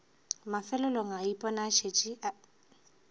mafelelong a ipona a šetše